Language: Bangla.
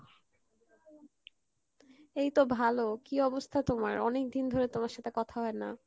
এইতো ভালো কী অবস্থা তোমার অনেকদিন ধরে তোমার সাথে কথা হয়না।